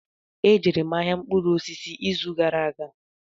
E jere m ahịa mkpụrụ osisi ịzụ gara aga.